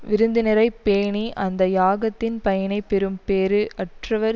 விருந்தினரை பேணி அந்த யாகத்தின் பயனைப் பெறும் பேறு அற்றவர்